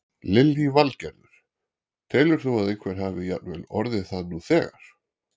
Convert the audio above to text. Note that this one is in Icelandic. Lillý Valgerður: Telur þú að einhver hafi jafnvel orðið það nú þegar?